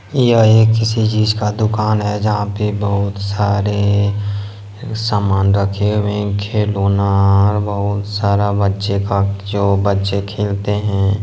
यह एक किसी चीज का दुकान है जहां पे बहुत सारे सामान रखे हुए हैं खिलौना बहुत सारे बच्चे का जो बच्चे खेलते हैं।